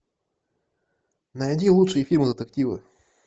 найди лучшие фильмы детективы